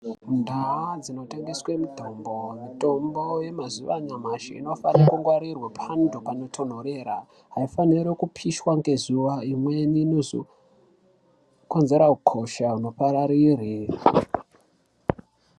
Ndau dzinotengeswa mitombo mitombo yemazuva ano inofanirwa kungwarirwa panotonhorera haifaniri kupishws ngeziva imweni inozokonzera hosha kuti ipararire.